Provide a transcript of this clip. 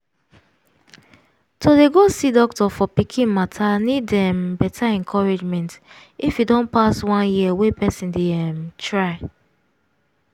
to dey go see doctor for pikin matter need um better encouragement if e don pass one year wey person dey um try